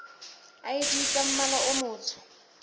id tsa mmala o motsho